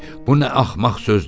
Bu nə axmaq sözdür?